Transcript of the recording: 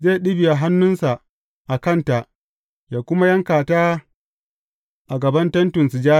Zai ɗibiya hannunsa a kanta yă kuma yanka ta a gaban Tentin Sujada.